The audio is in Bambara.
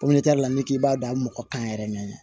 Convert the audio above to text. n'i k'i b'a dɔn mɔgɔ kan yɛrɛ mɛn